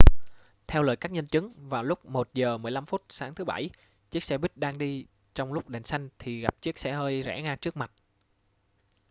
theo lời các nhân chứng vào lúc 1 giờ 15 phút sáng thứ bảy chiếc xe buýt đang đi trong lúc đèn xanh thì gặp chiếc xe hơi rẽ ngang trước mặt